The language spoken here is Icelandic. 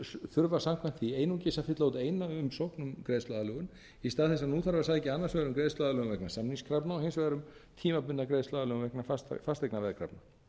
þurfa samkvæmt því einungis að fylla út eina umsókn um greiðsluaðlögun í stað þess að nú þarf að sækja annars vegar um greiðsluaðlögun vegna samningskrafna og hins vegar um tímabundna greiðsluaðlögun vegna fasteignaveðkrafna